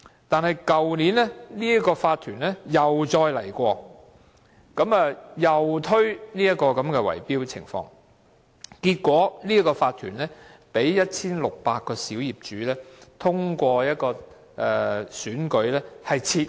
可是，去年這個業主法團又再提出這種圍標的建議，結果該法團被 1,600 名小業主透過選舉撤換。